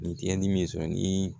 Ni tiɲɛni bɛ sɔn ni